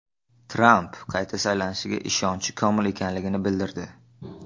Tramp qayta saylanishiga ishonchi komil ekanligini bildirdi.